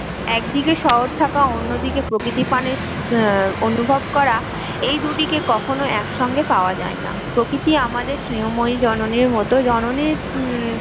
একদিকে শহর থাকা অন্যদিকে প্রকৃতি পানের উম অনভব করা এই দুটি কে কখনো একসঙ্গে পাওয়া যায়না, প্রকৃতি আমাদের স্নেহময়ী জননীর মতো জননীর